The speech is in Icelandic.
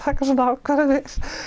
ákvarðanir